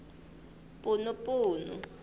punupunu